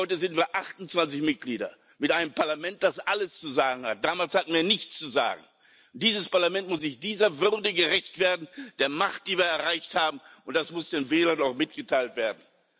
Heute sind wir 28 Mitglieder mit einem Parlament, das alles zu sagen hat. Damals hatten wir nichts zu sagen. Dieses Parlament muss dieser Würde gerecht werden, der Macht, die wir erreicht haben, und das muss den Wählern auch mitgeteilt werden.